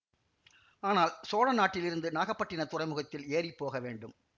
ஆனால் சோழ நாட்டிலிருந்து நாகப்பட்டினத் துறைமுகத்தில் ஏறி போக வேண்டும்